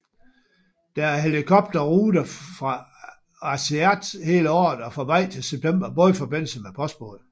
Der er helikopterrute fra Aasiaat hele året og fra maj til september bådforbindelse med postbåd